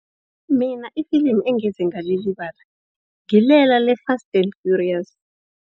Mina ifilimu engeze ngalilibala ngilela le-Fast and Furious.